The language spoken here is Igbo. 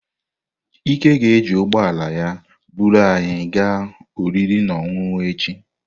Ike ga-eji ụgbọ ala ya buru anyị gaa oriri na ọṅụṅụ echi.